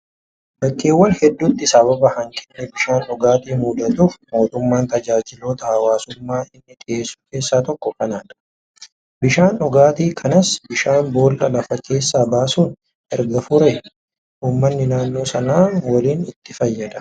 Bakkeewwan hedduutti sababa hanqinni bishaan dhugaatii mudatuuf, mootummaan tajaajiloota hawaasummaa inni dhiyeessu keessaa tokko kanadha. Bishaan dhugaatii kanas bishaan boollaa lafa keessaa baasuun erga furee, uummanni naannoo Sanaa waliin itti fayyadama